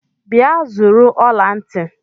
Bịa zụrụ ọla ntị!